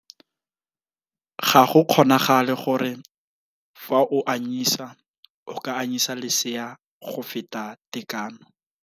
Ga go kgonagale gore fa o anyisa o ka anyisa lesea go feta tekano.